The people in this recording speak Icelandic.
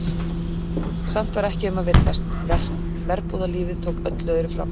Samt var ekki um að villast, verbúðalífið tók öllu öðru fram.